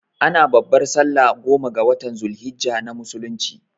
Ana babbar sallah goma ga watan zul hijjah na musulunci